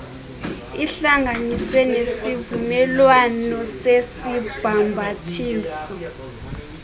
ihlanganiswe nesivumelwano sesibhambathiso